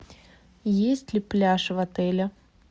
есть ли пляж в отеле